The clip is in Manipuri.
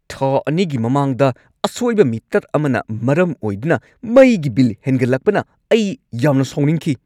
ꯊꯥ ꯲ꯒꯤ ꯃꯃꯥꯡꯗ ꯑꯁꯣꯏꯕ ꯃꯤꯇꯔ ꯑꯃꯅ ꯃꯔꯝ ꯑꯣꯏꯗꯨꯅ ꯃꯩꯒꯤ ꯕꯤꯜ ꯍꯦꯟꯒꯠꯂꯛꯄꯅ ꯑꯩ ꯌꯥꯝꯅ ꯁꯥꯎꯅꯤꯡꯈꯤ꯫